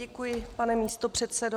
Děkuji, pane místopředsedo.